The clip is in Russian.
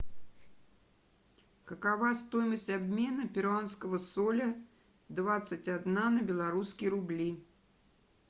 какова стоимость обмена перуанского соля двадцать одна на белорусские рубли